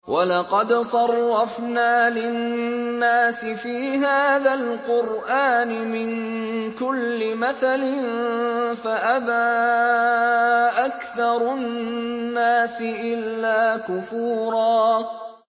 وَلَقَدْ صَرَّفْنَا لِلنَّاسِ فِي هَٰذَا الْقُرْآنِ مِن كُلِّ مَثَلٍ فَأَبَىٰ أَكْثَرُ النَّاسِ إِلَّا كُفُورًا